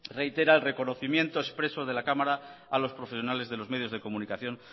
reitera el reconocimiento expreso de la cámara a los profesionales de los medios de comunicación